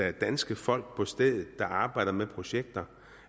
er danske folk på stedet der arbejder med projekter